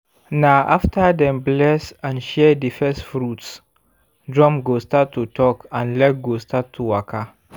na after dem bless and share di first fruits drum go start to talk and leg go start to waka.